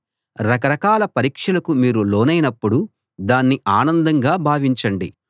రక రకాల పరీక్షలకు మీరు లోనైనప్పుడు దాన్ని ఆనందంగా భావించండి